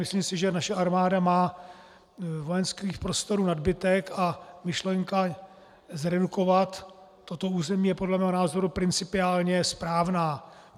Myslím si, že naše armáda má vojenských prostorů nadbytek, a myšlenka zredukovat toto území je podle mého názoru principiálně správná.